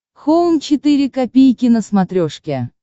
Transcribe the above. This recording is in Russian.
хоум четыре ка на смотрешке